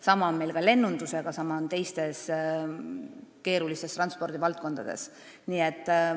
Samamoodi on meil ka lennunduses ja teistes keerulistes transpordivaldkondades.